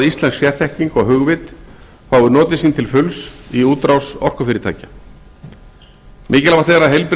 íslensk sérþekking og hugvit fái notið sín til fulls í útrás orkufyrirtækja mikilvæg er að heilbrigð